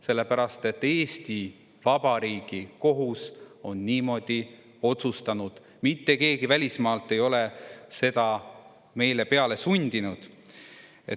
Sellepärast, et Eesti Vabariigi kohus on niimoodi otsustanud, mitte keegi välismaalt ei ole seda meile peale sundinud.